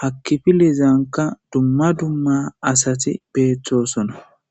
hakkifi leezanka dumma dumma asati beettosona.